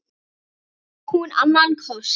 En á hún annan kost?